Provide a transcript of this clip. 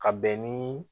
Ka bɛn niii